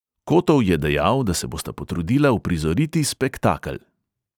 Kotov je dejal, da se bosta potrudila uprizoriti spektakel.